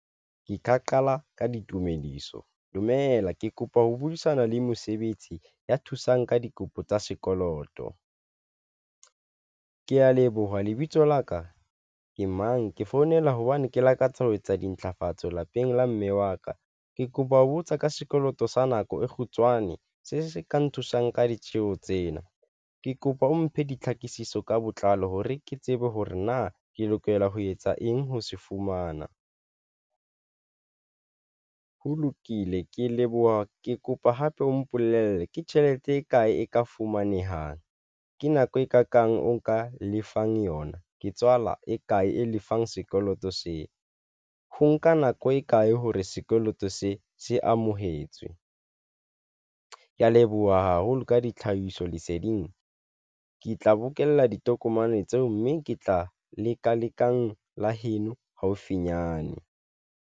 Ke ka qala ka ditumediso. Dumela ke kopa ho buisana le mesebetsi ya thusang ka dikopo tsa sekoloto. Ke ya leboha lebitso la ke mang? Ke founela ke hobane ke lakatsa ho etsa dintlafatso lapeng la mme wa ka. Ke kopa ho botsa ka sekoloto sa nako e kgutshwane se se ka nthusang ka ditjheho tsena. Ke kopa o mphe ditlhakisetso ka botlalo hore ke tsebe hore na ke lokela ho etsa eng. Ho se fumana ho lokile ke leboha ke kopa hape o mpolelle ke tjhelete e kae e ka fumanehang ke nako e kakang o nka lefang yona? Ke tswala e kae e lefang sekoloto seo? Ho nka nako e kae hore sekoloto se se amohetswe? Ke ya leboha haholo ka ditlhahisoleseding, ke tla bokella ditokomane tseo, mme ke tla leka lekang la heno haufinyane.